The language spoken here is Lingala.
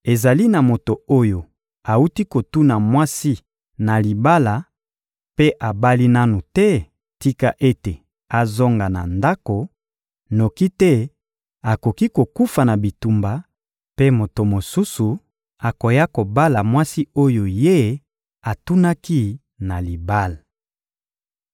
Ezali na moto oyo awuti kotuna mwasi na libala mpe abali nanu te? Tika ete azonga na ndako, noki te akoki kokufa na bitumba mpe moto mosusu akoya kobala mwasi oyo ye atunaki na libala.»